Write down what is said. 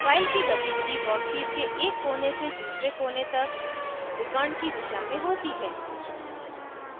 file की गतिविधि workpiece के एक कोने से दूसरे कोने तक विकर्ण की दिशा में होती है